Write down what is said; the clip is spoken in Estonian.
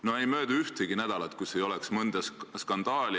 No ei möödu ühtegi nädalat, kus ei oleks mõnda skandaali.